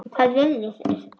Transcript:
Hvað viljið þið!